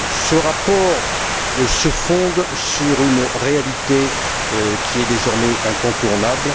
Ce rapport se fonde sur une réalité qui est désormais incontournable.